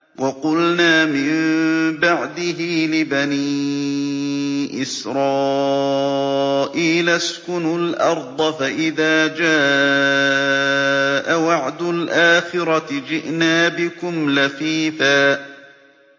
وَقُلْنَا مِن بَعْدِهِ لِبَنِي إِسْرَائِيلَ اسْكُنُوا الْأَرْضَ فَإِذَا جَاءَ وَعْدُ الْآخِرَةِ جِئْنَا بِكُمْ لَفِيفًا